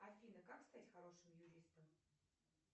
афина как стать хорошим юристом